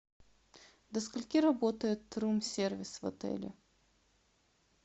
до скольки работает рум сервис в отеле